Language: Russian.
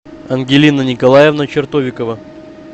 ангелина николаевна чертовикова